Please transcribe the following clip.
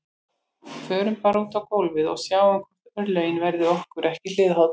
Förum bara út á gólfið og sjáum hvort örlögin verði okkur ekki hliðholl